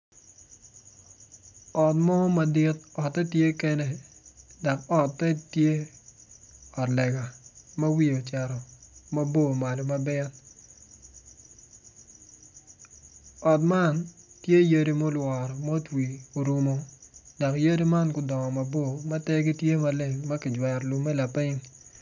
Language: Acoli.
Ot mo madit otte tye kene dok ote tye ot lega ma wiye ocito mabor malo mabeo, ot man tye yadi ma orungo ma otwi orumo dok yadi man gudongo mabor ma ter gi tye maleng makijwero lume laping.